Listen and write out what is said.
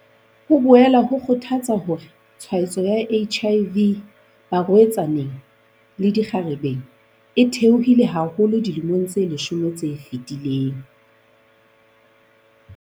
Ho boela ho kgothatsa hore tshwaetso ya HIV barwe-tsaneng le dikgarebe e the-ohile haholo dilemong tse leshome tse fetileng.